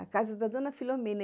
A casa da dona Filomena.